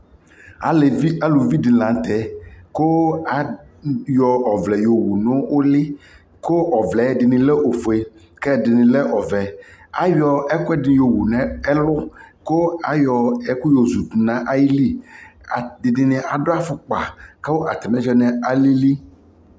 alʋvi di lantɛ kʋ ayɔ ɔvlɛ yɔwʋ nʋ ʋli kʋ ɔvlɛ dini lɛ ɔƒʋɛ kʋ ɛdini lɛ ɔvɛ, ayɔ ɛkʋɛdi yɔ wʋ nʋ ɛlʋ kʋ ayɔ ɛkʋ yɔ zʋdʋ nʋ ayili, ɛdini adʋ aƒʋkpa kʋ atami anakyɛ alili